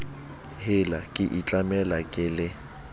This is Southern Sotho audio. hela ke itlamela ke le